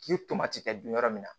K'i ye tomati kɛ dun yɔrɔ min na